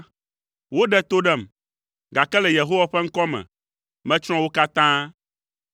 Woɖe to ɖem, gake le Yehowa ƒe ŋkɔ me, metsrɔ̃ wo katã.